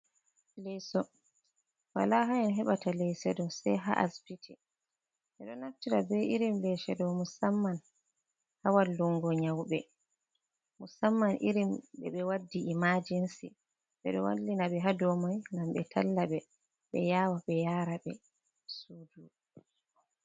Leso wala ha e heɓata leso ɗo sei ha asbiti, ɓe ɗo naftira be irin lese ɗo musamman ha wallungo nyauɓe, musamman irin ɓe ɓe waddi imajensi, ɓeɗo wallina be hadomai gam ɓe talla ɓe ɓe yawa ɓe yara be sudu.